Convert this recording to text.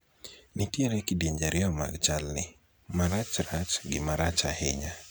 nitiere kidienje ariyo mag chal ni, marachrach gi marach ahinya